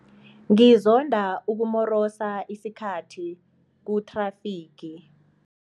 Ngizonda ukumorosa isikhathi kuthrafigi.